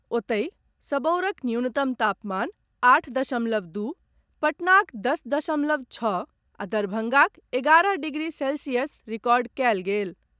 ओतहि, सबौरक न्यूनतम तापमान आठ दशमलव दू, पटनाक दस दशमलव छओ आ दरभंगाक एगारह डिग्री सेल्सियस रिकॉर्ड कयल गेल।